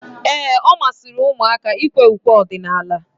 Ee, ọ masịrị ụmụaka ikwe ukwe ọdịnala.